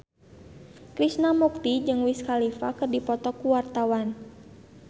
Krishna Mukti jeung Wiz Khalifa keur dipoto ku wartawan